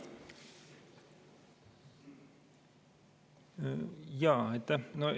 Aitäh!